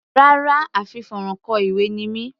Rárá, a fi fónrán kọ ìwé ni mí.